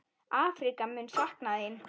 Afríka mun sakna þín.